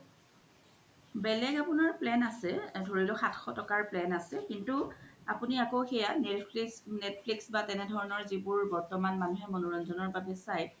বেলেগ আপুনাৰ plan আছে ধোৰিলক সাতশ তকাৰ plan কিন্তু আপুনি আকৌ সেইয়া netflix বা জেনেকুৱা ধৰনৰ জিবোৰ বৰ্তমান মনুহে মনোৰঞ্জনৰ বাবে চাই